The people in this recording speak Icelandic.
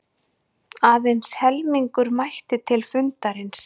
Aðeins helmingur mætti til fundarins